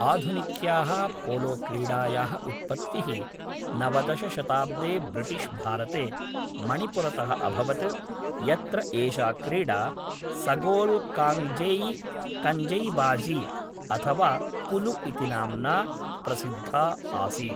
आधुनिक्याः पोलोक्रीडायाः उत्पत्तिः नवदश शताब्दे ब्रिटिश्भारते, मणिपुरतः अभवत्, यत्र एषा क्रीडा सगोल् काङ्गजेइ कञ्जैबाज़ी, अथ वा पुलु इति नाम्ना प्रसिद्धा आसीत्।